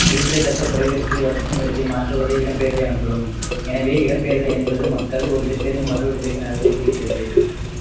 குறிப்பிடத்தக்க தொலைவிற்கு வசிக்கும் இடத்தை மாற்றுவதே இடம்பெயர்தல் எனப்படும் எனவே இடம்பெயர்தல் என்பது மக்கள் ஒரு இடத்திலிருந்து மற்றொரு இடத்திற்கு நகர்வதை குறிக்கிறது